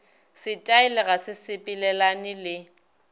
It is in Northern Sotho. setaele ga se sepelelane le